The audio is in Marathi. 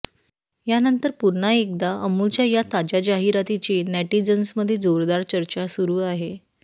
यानंतर पुन्हा एकदा अमुलच्या या ताज्या जाहिरातीची नेटिझन्समध्ये जोरदार चर्चा सुरु आहे